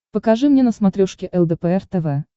покажи мне на смотрешке лдпр тв